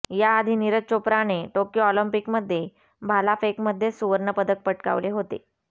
याआधी नीरज चोप्राने टोक्यो ऑलिम्पिकमध्ये भालाफेकमध्येच सुवर्णपदक पटकावले होते